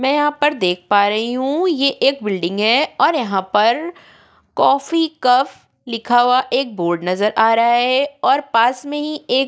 मैं यहाँ पर देख पा रही हूँ ये एक बिल्डिंग है और यहाँ पर कॉफी कव लिखा हुआ एक बोर्ड नजर आ रहा है और पास में ही एक --